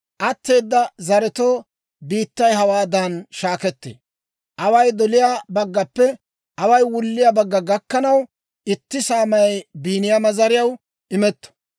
Atteeda zaretoo biittay hawaadan shaakkettee. Away doliyaa baggappe away wulliyaa bagga gakkanaw, itti saamay Biiniyaama zariyaw imetto.